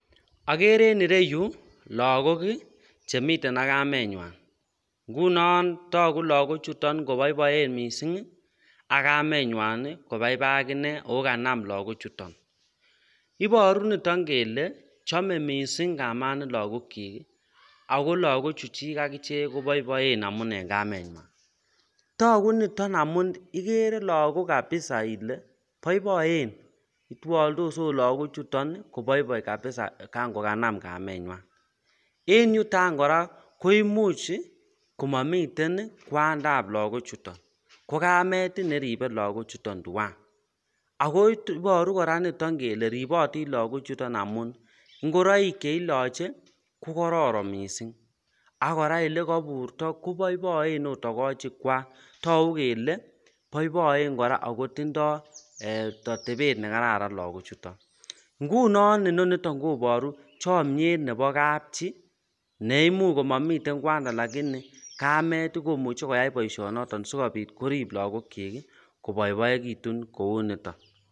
Agere en ireyu lagok Chemiten ak kamenywan ngunon tagu lagok chuton kobaibaen mising ak kamenywan kobaibaibakinee kokaname lagok chuton ibaru niton kele chome mising bik ago lagok chechik akinee kobaebaen amun en kamenywan tagu niton amun igere lagok kabisa Ile baibaenbitwaldos okot lagok chuton kobaibaibkabisa kakokanam kamenywan en yuton koraa koimuch komamiten kwandabblagok chuton kokamet neribe lagok chuton twan ako Batu chuton kele ribatin lagok chuton amun ingoroik cheilache kokararan mising akoraa olekaburto kobaibai mising okot takochik Kwak ako tagu kele baibai koraa akotindoi atebet nekararan lagok chuton ngunon Inoniton kobaru chamiet Nebo kabchi neimuche komami lakini kamet komuche koyai baishet noton sikobit korib lagok chik kobaibaikitun Kou niton